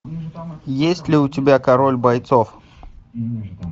есть ли у тебя король бойцов